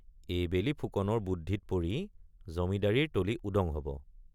এইবেলি ফুকনৰ বুদ্ধিত পৰি জমিদাৰীৰ তলি উদং হব।